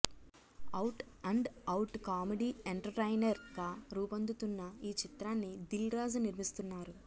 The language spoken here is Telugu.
out and out comedy entertainer గా రూపొందుతున్న ఈ చిత్రాన్ని దిల్ రాజు నిర్మిస్తున్నారు